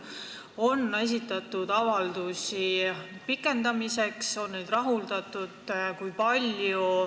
Kas on esitatud avaldusi pikendamiseks ja kui on, siis kas neid on rahuldatud?